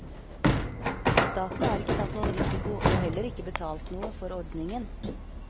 Staten har ikke tatt noen risiko og heller ikke betalt noe for ordningen.